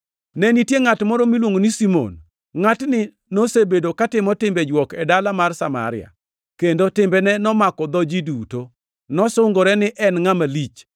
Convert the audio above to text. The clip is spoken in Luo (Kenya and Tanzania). Ne nitie ngʼat moro miluongo ni Simon. Ngʼatni nosebedo katimo timbe jwok e dala mar Samaria, kendo timbene nomako dho ji duto. Nosungore ni en ngʼama lich,